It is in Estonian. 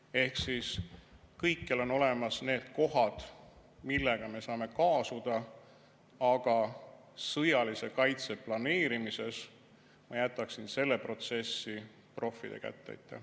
Ehk siis need on kohad, mille puhul me saame kaasuda, aga sõjalise kaitse planeerimises ma jätaksin selle protsessi proffide kätte.